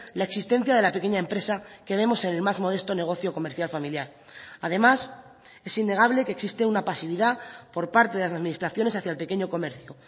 la existencia de la pequeña empresa que vemos en el más modesto negocio comercial familiar además es innegable que existe una pasividad por parte de las administraciones hacia el pequeño comercio